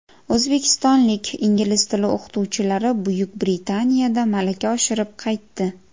O‘zbekistonlik ingliz tili o‘qituvchilari Buyuk Britaniyada malaka oshirib qaytdi.